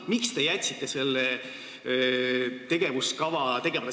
Miks te jätsite selle tegevuskava tegemata?